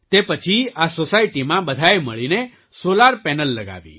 તે પછી આ સૉસાયટી બધાએ મળીને સૉલાર પેનલ લગાવી